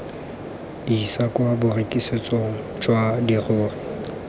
isa kwa borekisetsong jwa dirori